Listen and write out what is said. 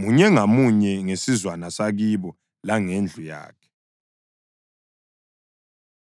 munye ngamunye ngesizwana sakibo langendlu yakhe.